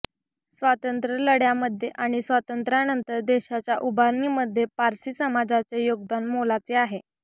स्वातंत्र्यलढय़ामध्ये आणि स्वातंत्र्यानंतर देशाच्या उभारणीमध्ये पारसी समाजाचे योगदान मोलाचे आहे